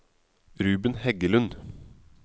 Ruben Heggelund